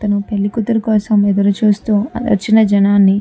ఇతను పెళ్లి కూతురు కోసం ఎదురు చూస్తూ వచ్చిన జనాలని --